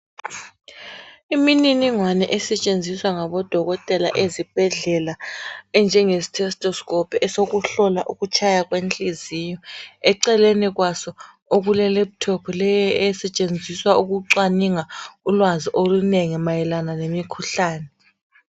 Imininingwane esetshenziswa ngabodokotela ezibhedlela enjenge stethoscope esokuhlola ukutshaya kwenhliziyo. Eceleni kwaso okule laptop leyo esetshenziswa ukucwaninga ulwazi olunengi mayelana lemikhuhlane.